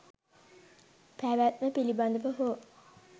පැවැත්ම පිළිබඳව හෝ